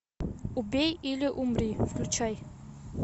убей или умри включай